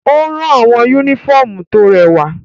O ran awọn unifọmú to rẹwa.